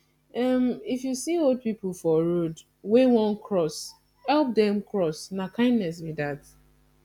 if you see old pipo for road wey won cross help them cross na kindness be that